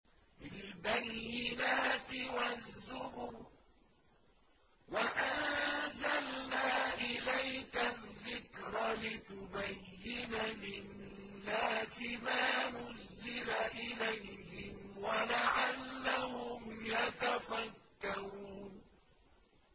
بِالْبَيِّنَاتِ وَالزُّبُرِ ۗ وَأَنزَلْنَا إِلَيْكَ الذِّكْرَ لِتُبَيِّنَ لِلنَّاسِ مَا نُزِّلَ إِلَيْهِمْ وَلَعَلَّهُمْ يَتَفَكَّرُونَ